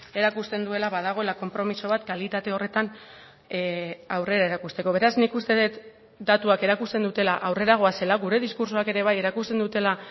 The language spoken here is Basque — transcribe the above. erakusten duela badagoela konpromiso bat kalitate horretan aurrera erakusteko beraz nik uste dut datuak erakusten dutela aurrera goazela gure diskurtsoak ere bai erakusten dutela